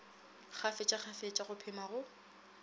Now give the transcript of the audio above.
kgafetša kgafetša go phema go